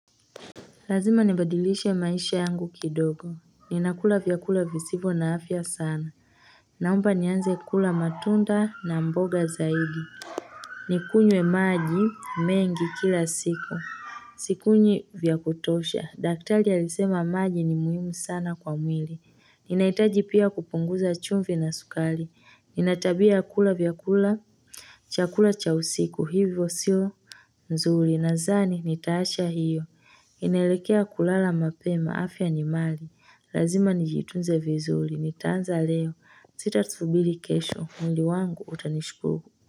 Lazima nibadilishe maisha yangu kidogo. Ninakula vyakula visivo na afya sana. Naomba nianze kula matunda na mboga zaidi. Nikunywe maji mengi kila siku. Sikunywi vya kutosha. Daktari alisema maji ni muhimu sana kwa mwili. Ninaitaji pia kupunguza chumvi na sukali. Ninatabia ya kula vyakula. Chakula cha usiku hivyo sio. Nzuri nadhani ni taasha hiyo. Ninaelekea kulala mapema afya ni mali, lazima nijitunze vizuri, nitaanza leo, sita subiri kesho, mwili wangu utanishukuru.